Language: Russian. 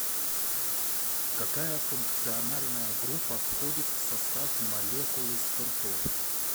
какая функциональная группа входит в состав молекулы спиртов